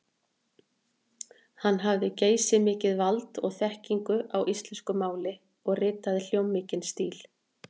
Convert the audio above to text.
Hann hafði geysimikið vald og þekkingu á íslensku máli og ritaði hljómmikinn stíl.